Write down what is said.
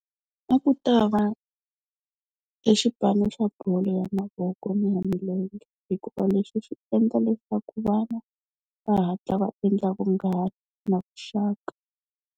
A ku ta va e xipano xa bolo ya mavoko na ya milenge hikuva leswi swi endla leswaku vana va hatla va endla vunghana na vuxaka.